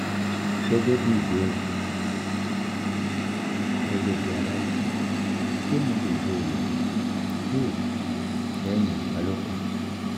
gegebi ìbéèrè gegebi alaisan ṣé mo lè lo oògùn pill lẹ́yìn ìbálòpọ̀?